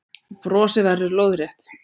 Brosið verður lóðrétt.